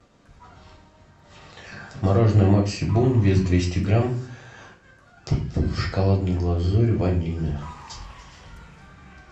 мороженое максибон вес двести грамм в шоколадной глазури ванильное